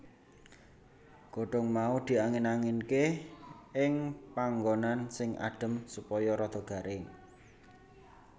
Godhong mau diangin anginke ing panggonan sing adem supaya rada garing